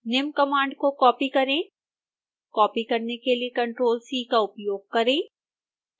निम्न कमांड को कॉपी करें कॉपी करने के लिए ctrl c का उपयोग करें